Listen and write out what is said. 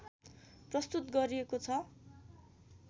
प्रस्तुत गरिएको छ